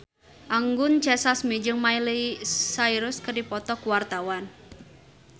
Anggun C. Sasmi jeung Miley Cyrus keur dipoto ku wartawan